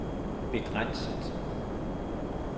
begrænset